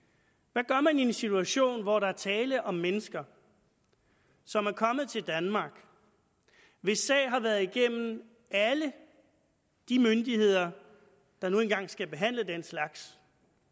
hvad gør man i en situation hvor der er tale om mennesker som er kommet til danmark hvis sag har været igennem alle de myndigheder der nu engang skal behandle den slags